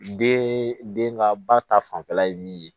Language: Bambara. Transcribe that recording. Den den ka ba ta fanfɛla ye min ye